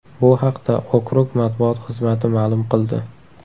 Bu haqda okrug matbuot xizmati ma’lum qildi.